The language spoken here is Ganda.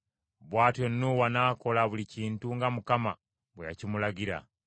Bw’atyo Nuuwa n’akola buli kintu nga Mukama bwe yakimulagira.